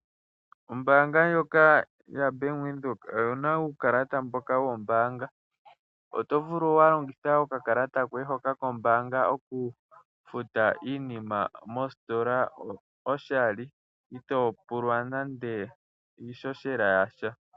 Ombaanga yaBank Windhoek oyi na uukalata mboka wombaanga. Oto vulu oku kala wa longitha okakalata koye hoka kombaanga oku futa iinima mositola oshali itoo pulwa nande iishoshela yasha.